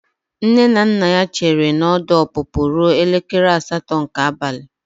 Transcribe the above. Nne na nna ya chere na ọdụ ọpụpụ ruo elekere asatọ nke abalị.